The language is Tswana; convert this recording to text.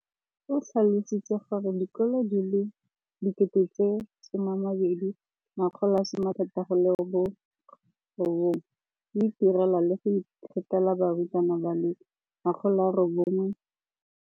O tlhalositse gore dikolo di le 20 619 di itirela le go iphepela barutwana ba le 9 032 622 ka dijo go ralala naga letsatsi le lengwe le le lengwe.